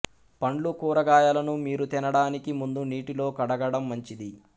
పండ్లు కూరగాయలను మీరు తినడానికి ముందు నీటిలో కడగడం మంచిది